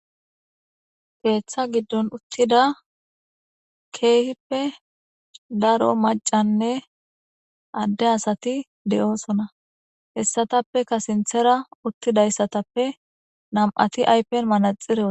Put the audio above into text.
keeththa giddon uttida keehippe daro macanne adde asati de7oosona hessatappeka sinthera uttidayssatappe nam7ati aypen manaxireo wothidosona